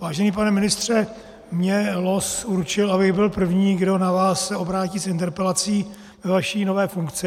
Vážený pane ministře, mě los určil, abych byl první, kdo se na vás obrátí s interpelací ve vaší nové funkci.